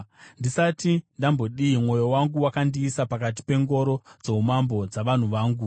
Ndisati ndambodii, mwoyo wangu wakandiisa pakati pengoro dzoumambo dzavanhu vangu.